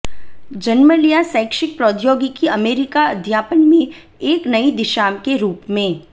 जन्म लिया शैक्षिक प्रौद्योगिकी अमेरिका अध्यापन में एक नई दिशा के रूप में